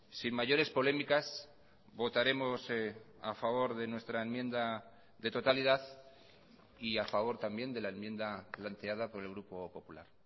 sin mayores polémicas votaremos a favor de nuestra enmienda de totalidad y a favor también de la enmienda planteada por el grupo popular